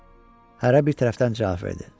Hərə bir tərəfdən cavab verdi.